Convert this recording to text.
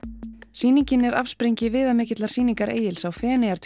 sýningin er afsprengi viðamikillar sýningar Egils á